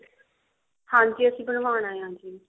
ਹਾਂਜੀ ਅਸੀਂ ਬਨਵਾਉਣਾ ਹੈ ਜੀ